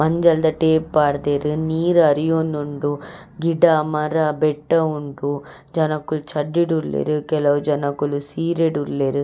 ಮಂಜಲ್ ದ ಟೇಪ್ ಪಾಡ್ದೆರ್ ನೀರ್ ಅರಿಯೊಂದುಂಡು ಗಿಡ ಮರ ಬೆಟ್ಟ ಉಂಡು ಜನೊಕುಲ್ ಚಡ್ಡಿಡ್ ಉಲ್ಲೆರ್ ಕೆಲವು ಜನೊಕುಲು ಸೀರೆಡ್ ಉಲ್ಲೆರ್.